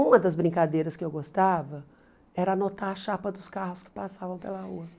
Uma das brincadeiras que eu gostava era anotar a chapa dos carros que passavam pela rua.